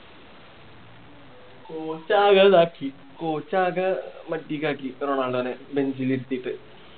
Coach ആകെ ഇതാക്കി coach ആകെ മഡിക്കാക്കി റൊണാൾഡോനെ lunch ന് ഇരുത്തിട്ട്